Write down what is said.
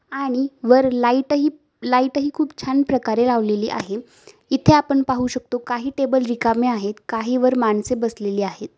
आणि वर लाईट हि लाईट हि खूप छान प्रकारे लावली आहे इथे आपण पाहू शकतो काही टेबल रिकामे आहेत काही वर माणसे बसलेले आहेत.